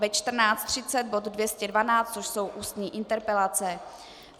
Ve 14.30 bod 212, což jsou ústní interpelace.